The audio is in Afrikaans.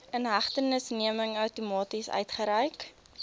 inhegtenisneming outomaties uitgereik